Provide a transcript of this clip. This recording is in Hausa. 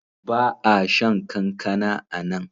Ba a shan kankana a nan.